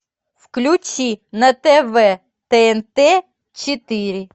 включи на тв тнт четыре